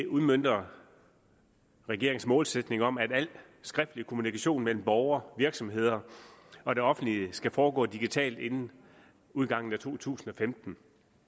udmønter regeringens målsætning om at al skriftlig kommunikation mellem borgere virksomheder og det offentlige skal foregå digitalt inden udgangen af to tusind og femten